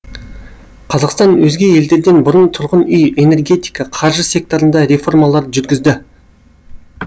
қазақстан өзге елдерден бұрын тұрғын үй энергетика қаржы секторында реформалар жүргізді